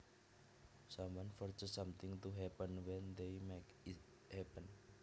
Someone forces something to happen when they make it happen